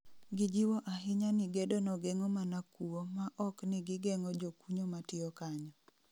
Gijiwo ahinya ni gedo no geng'o mana kuo ma okni gigeng'o jokunyo matiyo kanyo